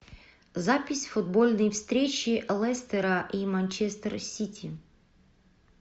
запись футбольной встречи лестера и манчестер сити